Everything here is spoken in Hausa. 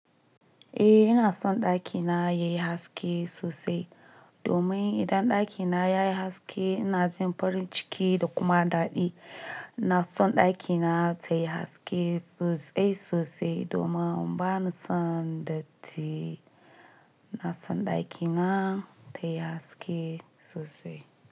Eh ina son ɗakina yayi haske sosai. Domin idan ɗakina yayi haske ina jin farin ciki da kuma daɗi. Na son ɗakina tayi haske sosai sosai domin bana son datti. Ina son ɗakina tayi haske sosai.